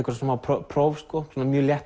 smá próf sko mjög létt